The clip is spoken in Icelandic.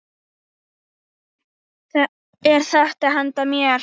Er þetta handa mér?!